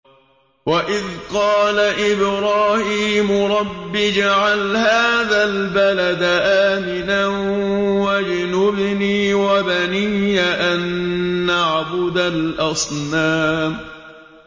وَإِذْ قَالَ إِبْرَاهِيمُ رَبِّ اجْعَلْ هَٰذَا الْبَلَدَ آمِنًا وَاجْنُبْنِي وَبَنِيَّ أَن نَّعْبُدَ الْأَصْنَامَ